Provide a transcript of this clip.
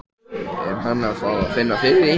Er hann að fá að finna fyrir því?